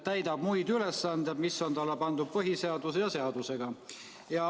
täidab muid ülesandeid, mis on talle pandud põhiseaduse ja seadustega.